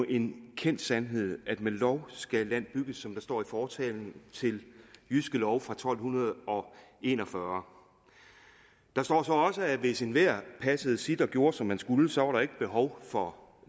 en kendt sandhed at med lov skal land bygges som der står i fortalen til jyske lov fra tolv en og fyrre der står så også at hvis enhver passede sit og gjorde som man skulle så var der ikke behov for